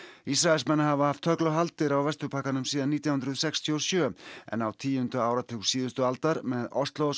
Ísraelsmenn hafa haft tögl og haldir á Vesturbakkanum síðan nítján hundruð sextíu og sjö en á tíunda áratug síðustu aldar með